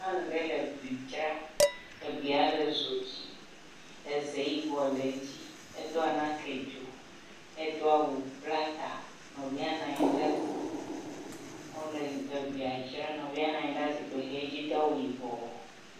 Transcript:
nyɔŋu ɖe le bli dzra eblia le dzodzi eze yibɔ le edzi edó anake dzo edoawu bla ta nɔvia nɔnyi ɖe gbɔ wóle blia dzra nɔvia nɔnyi ɖe zikpi hɛ dzi dó awu yibɔ